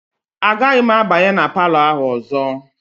Agaghị m abanye na palọ ahụ ọzọ.